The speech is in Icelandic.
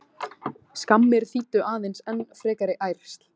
Skammir þýddu aðeins enn frekari ærsl.